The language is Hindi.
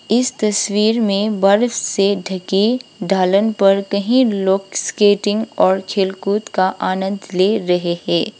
इस तस्वीर में बर्फ से धकी ढालन पर कहीं लोग स्केटिंग और खेलकूद का आनंद ले रहे है।